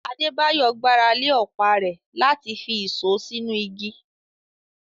Adebayo gbára lé ọ̀pá rẹ̀ láti fi ìṣó sínú igi.